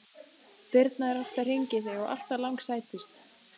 Birna er oft að hringja í þig og alltaf langsætust!